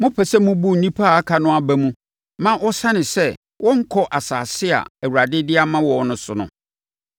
Mopɛ sɛ mobu nnipa a aka no aba mu ma wɔsane sɛ wɔrenkɔ asase a Awurade de ama wɔn no so no?